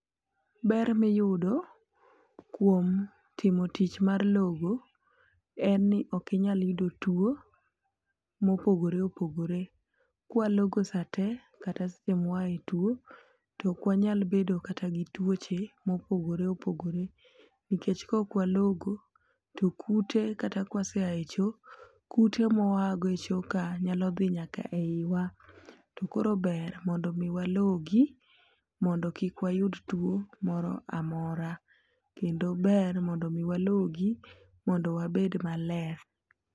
Ber miyudo kuom timo tich mar logo en ni ok inyal yudo tuo mopogore opogore. Kwalogo saa te kata sa mwaae tuo tok wanyal bedo kata gi tuoche mopogore opogore nikech kok walogo to kute kata kwaseae choo, kute mwaago echoo ka nyalo dhi nyaka e iwa. To koro ber mondo mi walogi mondo kik wayud tuo moro amora kendo ber mondo mi walogi mondo wabed maler.